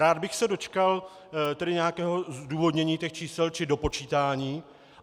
Rád bych se dočkal nějakého zdůvodnění těch čísel či dopočítání.